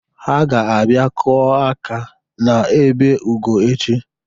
Ha ga-abia kụọ aka n'ebe Ugo echi.